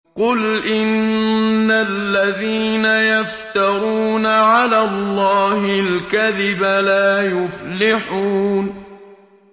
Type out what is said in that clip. قُلْ إِنَّ الَّذِينَ يَفْتَرُونَ عَلَى اللَّهِ الْكَذِبَ لَا يُفْلِحُونَ